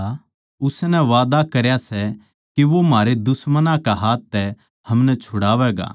उसनै वादा करया सै कै वो म्हारे दुश्मनां कै हाथ तै हमनै छुड़ावैगा